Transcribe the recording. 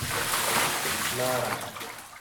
нара